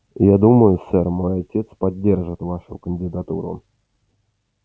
я думаю сэр мой отец поддержит вашу кандидатуру